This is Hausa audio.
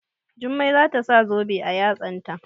Jummai za ta sa zobe a yatsanta.